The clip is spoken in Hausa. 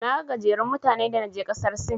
Naga gajerun mutane da naje ƙasar Sin.